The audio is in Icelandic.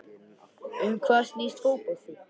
Um hvað snýst fótbolti?